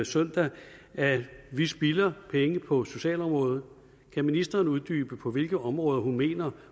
søndag at vi spilder penge på socialområdet kan ministeren uddybe på hvilke områder hun mener